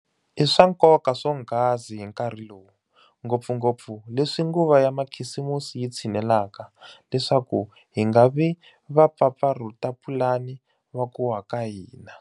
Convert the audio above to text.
I swa nkoka swonghasi hi nkarhi lowu, ngopfungopfu leswi nguva ya makhisimusi yi tshinelaka, leswaku hi nga vi vapfapfarhutapulani va ku wa ka hina.